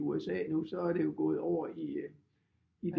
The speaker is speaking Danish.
I USA nu så er det jo gået over i